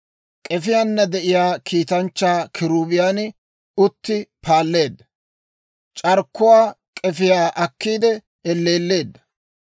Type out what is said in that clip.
K'efiyaana de'iyaa kiitanchchaa kiruubiyan uttiide paalleedda; c'arkkuwaa k'efiyaa akkiide elleelleedda.